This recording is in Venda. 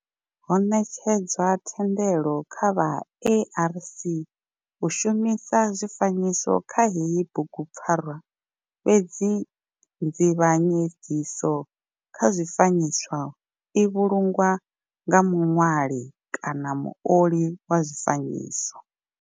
Ho netshedzwa thendelo kha vha ARC u shumisa zwifanyiso kha heyi bugupfarwa fhedzi nzivhanyedziso kha zwifanyiso i vhulungwa nga muṋwali kana muoli wa zwifanyiso.